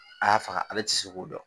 A y'a faga ale tɛ se k'o dɔn